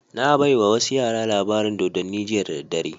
Na baiwa wasu yara labarin dodanni jiya da daddare